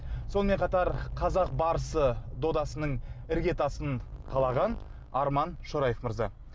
сонымен қатар қазақ барысы додасының ірге тасын қалаған арман шораев мырза